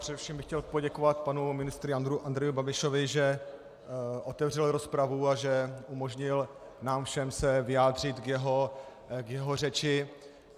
Především bych chtěl poděkovat panu ministru Andrejovi Babišovi, že otevřel rozpravu a že umožnil nám všem se vyjádřit k jeho řeči.